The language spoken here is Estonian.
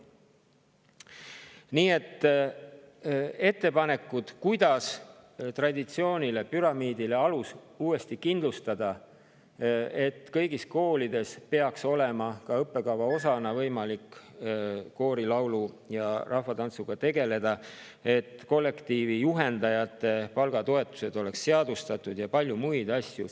Nii et seal on ettepanekuid, kuidas uuesti traditsiooni, püramiidi alus kindlustada: kõigis koolides peaks ka õppekava osana olema võimalik koorilaulu ja rahvatantsuga tegeleda, kollektiivijuhendajate palgatoetused peaksid olema seadustatud ja seal on veel palju muid asju.